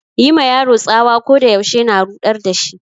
Yi ma yaro tsawa ko da yaushe na ruɗar da shi.